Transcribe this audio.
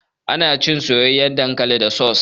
Ana cin soyayyan dankali da saus.